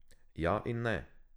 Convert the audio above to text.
Ja in ne.